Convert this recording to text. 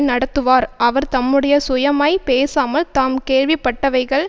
நடத்துவார் அவர் தம்முடைய சுயமாய்ப் பேசாமல் தாம் கேள்விப்பட்டவைகள்